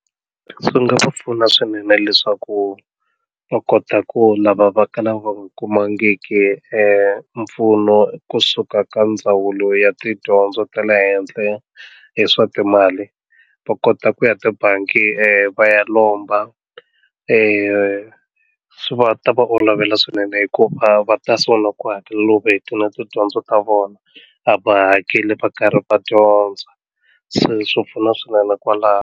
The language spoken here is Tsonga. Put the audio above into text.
Swi nga va pfuna swinene leswaku va kota ku lava va kalaka va nga kumangiki mpfuno kusuka ka ndzawulo ya tidyondzo ta le henhla hi swa timali va kota ku ya tibangi va ya lomba swi va ta va olovela swinene hikuva va ta sungula ku hakela loko a hetini tidyondzo ta vona a va hakeli va karhi va dyondza se swi pfuna swinene kwalaho.